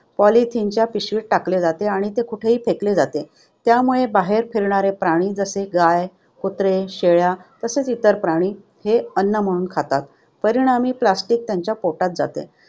Polythene च्या पिशवीत टाकले जाते आणि कुठेही फेकले जाते. त्यामुळे बाहेर फिरणारे प्राणी जसे की गाय, कुत्रे, शेळ्या व इतर प्राणी ते अन्न म्हणून खातात. परिणामी, plastic त्यांच्या पोटात जाते.